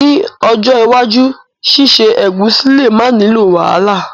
Ni ojó iwájú síse ẹ̀gúsí le ma nilo wàhálà